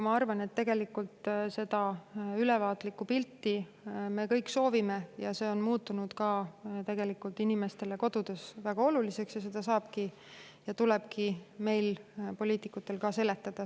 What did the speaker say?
Ma arvan, et tegelikult me kõik soovime seda ülevaatlikku pilti saada ja see on ka inimestele kodudes muutunud väga oluliseks ja seda tulebki meil, poliitikutel, seletada.